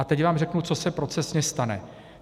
A teď vám řeknu, co se procesně stane.